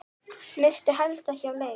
Missti helst ekki af leik.